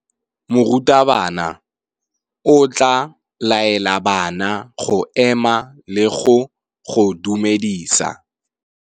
Morutabana o tla laela bana go ema le go go dumedisa.